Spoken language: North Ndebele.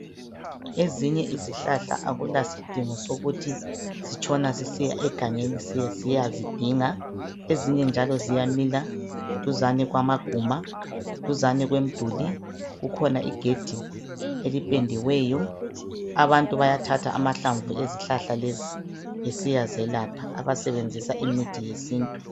Ezinye izihlahla akulasidingo sokuthi sitshona sisiya egangeni sisiyazidinga. Ezinye njalo ziyamila duzane kwamaguma ,duzane kwemiduli .Kukhona igedi eliphendiweyo. Abantu bayathatha amahlamvu ezihlahla lezi besiya zelapha .Abasebenzisa imithi yesintu.